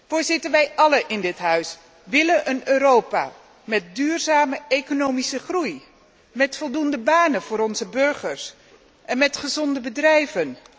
Voorzitter, wij allen in dit Huis willen een Europa met duurzame economische groei, met voldoende banen voor onze burgers en met gezonde bedrijven.